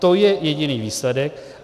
To je jediný výsledek.